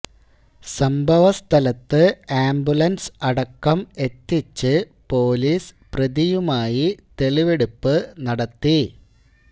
സംഭവ സ്ഥലത്ത് ആംബുലന്സ് അടക്കം എത്തിച്ച് പോലീസ് പ്രതിയുമായി തെളിവെടുപ്പ് നടത്തി